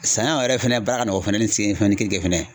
Saɲɔ yɛrɛ fɛnɛ baara ka nɔgɔn fɛnɛ ni sen ni keninke fɛnɛ ye.